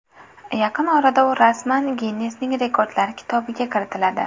Yaqin orada u rasman Ginnesning Rekordlar kitobiga kiritiladi.